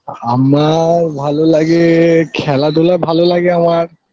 হামার ভালো লাগে খেলাধুলা ভালো লাগে আমার